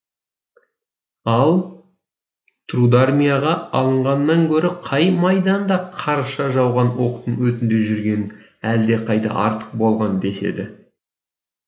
ал трудармияға алынғаннан гөрі қай майданда қарша жауған оқтың өтінде жүрген әлдеқайда артық болған деседі